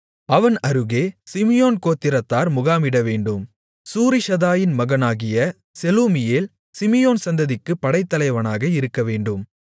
அவன் அருகே சிமியோன் கோத்திரத்தார் முகாமிடவேண்டும் சூரிஷதாயின் மகனாகிய செலூமியேல் சிமியோன் சந்ததியாருக்குப் படைத்தலைவனாக இருக்கவேண்டும்